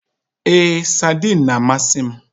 Èé, saidin na amasị m